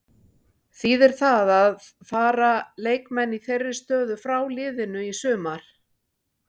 Þýðir það að fara leikmenn í þeirri stöðu frá liðinu í sumar?